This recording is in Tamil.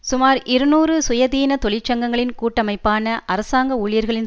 சுமார் இருநூறு சுயதீன தொழிற்சங்கங்களின் கூட்டமைப்பான அரசாங்க ஊழியர்களின்